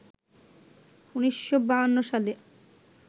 ১৯৫২ সালে